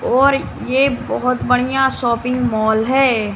और ये बहोत बढ़िया शॉपिंग मॉल है।